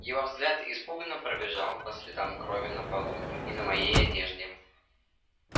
его взгляд испуганно пробежал по следам крови на полу и на моей одежде